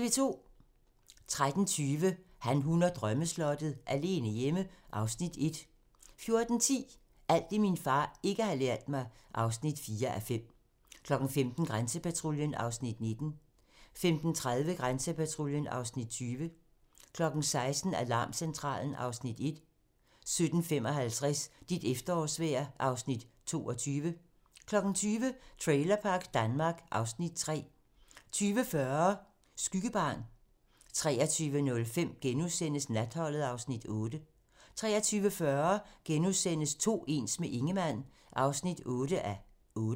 13:20: Han, hun og drømmeslottet - alene hjemme (Afs. 1) 14:10: Alt det, min far ikke har lært mig (4:5) 15:00: Grænsepatruljen (Afs. 19) 15:30: Grænsepatruljen (Afs. 20) 16:00: Alarmcentralen (Afs. 1) 17:55: Dit efterårsvejr (Afs. 22) 20:00: Trailerpark Danmark (Afs. 3) 20:40: Skyggebarn 23:05: Natholdet (Afs. 8)* 23:40: To ens - med Ingemann (8:8)*